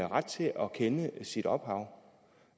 ret til at kende sit ophav